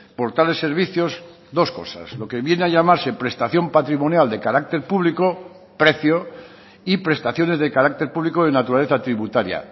por tales servicios dos cosas lo que viene a llamarse prestación patrimonial de carácter público precio y prestaciones de carácter público de naturaleza tributaria